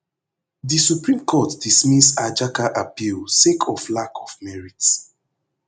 di supreme court dismiss ajaka appeal sake of lack of merit